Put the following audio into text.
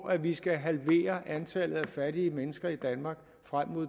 at vi skal halvere antallet af fattige mennesker i danmark frem mod